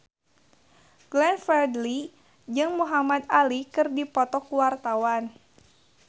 Glenn Fredly jeung Muhamad Ali keur dipoto ku wartawan